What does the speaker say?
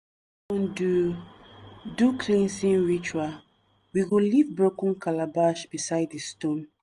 do do cleansing ritual we go leave broken calabash beside di stone.